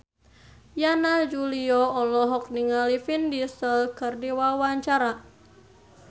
Yana Julio olohok ningali Vin Diesel keur diwawancara